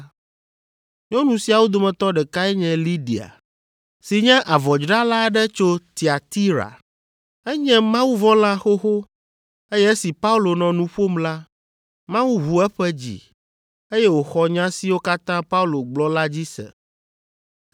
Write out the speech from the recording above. Nyɔnu siawo dometɔ ɖekae nye Lidia, si nye avɔdzrala aɖe tso Tiatira. Enye mawuvɔ̃la xoxo, eye esi Paulo nɔ nu ƒom la, Mawu ʋu eƒe dzi, eye wòxɔ nya siwo katã Paulo gblɔ la dzi se.